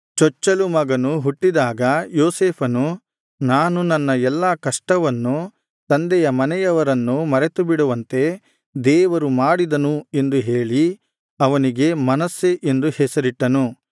ಚೊಚ್ಚಲು ಮಗನು ಹುಟ್ಟಿದಾಗ ಯೋಸೇಫನು ನಾನು ನನ್ನ ಎಲ್ಲಾ ಕಷ್ಟವನ್ನು ತಂದೆಯ ಮನೆಯವರನ್ನೂ ಮರೆತುಬಿಡುವಂತೆ ದೇವರು ಮಾಡಿದನು ಎಂದು ಹೇಳಿ ಅವನಿಗೆ ಮನಸ್ಸೆ ಎಂದು ಹೆಸರಿಟ್ಟನು